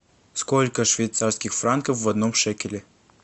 сколько швейцарских франков в одном шекеле